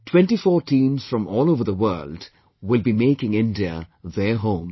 Twentyfour teams from all over the world will be making India their home